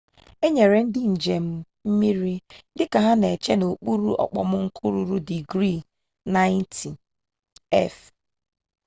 e nyere ndị njem mmiri dịka ha na-eche n'okpuru okpomọkụ ruru digrii 90f